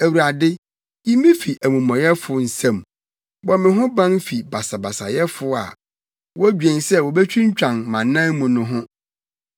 Awurade, yi me fi amumɔyɛfo nsam; bɔ me ho ban fi basabasayɛfo a wodwen sɛ wobetwintwan mʼanan mu no ho.